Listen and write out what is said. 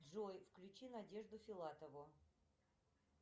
джой включи надежду филатову